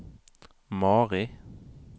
Mari